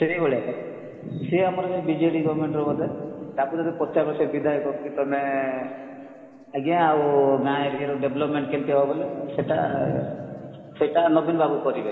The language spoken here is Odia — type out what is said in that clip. ସେଇଭଳିଆ ତ ସିଏ ଆମର ବିଜେଡି government ର ବୋଧେ ତାଙ୍କୁ ଯଦି ପଚାରିବ ସେ ବିଧ୍ୟାୟକ କି ତମେ ଆଜ୍ଞା ଆଉ ଗାଁ area ର development କେମିତି ହବ ବୋଲେ ସେଟା ସେଟା ନବୀନ ବାବୁ କରିବେ